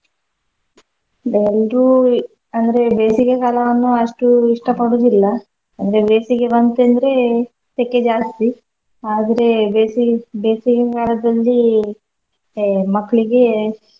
ಎಲ್ರೂ, ಅಂದ್ರೆ ಬೇಸಿಗೆ ಕಾಲವನ್ನು ಅಷ್ಟು ಇಷ್ಟ ಪಡುದಿಲ್ಲ ಅಂದ್ರೆ ಬೇಸಿಗೆ ಬಂತಂದ್ರೆ ಸೆಖೆ ಜಾಸ್ತಿ ಆದ್ರೆ ಬೇಸಿಗೆ ಬೇಸಿಗೆ ಕಾಲದಲ್ಲಿ ಹೇ ಮಕ್ಳಿಗೆ.